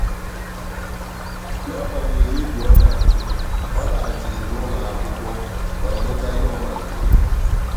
n'agbanyeghị egwu ọ na-atụ ọ laghachiri n'ụlọ akwụkwọ ka ọ gụchaa ihe ọ malitere.